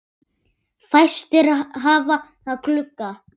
Fæstir hafa glugga.